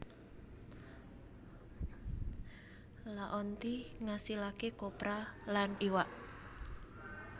Laonti ngasilaké kopra lan iwak